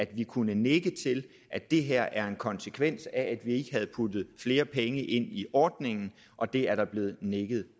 vi kunne nikke til at det her er en konsekvens af at vi ikke har puttet flere penge ind i ordningen og det er der blevet nikket